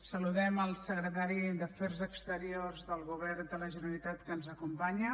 saludem el secretari d’afers exteriors del govern de la generalitat que ens acompanya